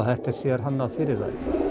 þetta er sérhannað fyrir þær